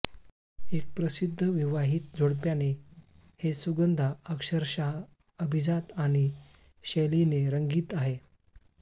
एक प्रसिद्ध विवाहित जोडप्याने हे सुगंधा अक्षरशः अभिजात आणि शैलीने रंगीत आहे